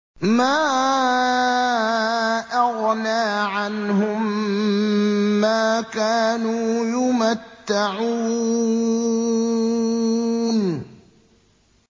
مَا أَغْنَىٰ عَنْهُم مَّا كَانُوا يُمَتَّعُونَ